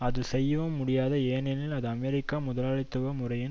அது செய்யவும் முடியாது ஏனெனில் இது அமெரிக்க முதலாளித்துவ முறையின்